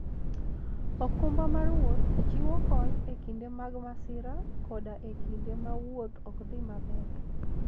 okumba mar wuoth chiwo kony e kinde mag masira koda e kinde ma wuoth ok dhi maber.